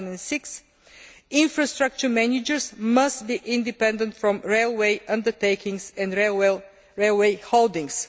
2006. Infrastructure managers must be independent from railway undertakings and railway holdings.